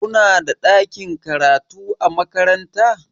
Kunada ɗakin karatu a makaranta?